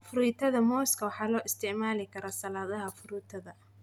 Fruitada mooska waxaa loo isticmaali karaa saladhaha fruitada.